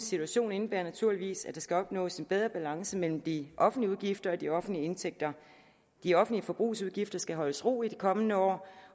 situation indebærer naturligvis at der skal opnås en bedre balance mellem de offentlige udgifter og de offentlige indtægter de offentlige forbrugsudgifter skal holdes i ro i de kommende år